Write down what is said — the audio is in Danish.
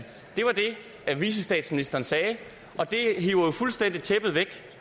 vicestatsministeren sagde og det hiver jo fuldstændig tæppet væk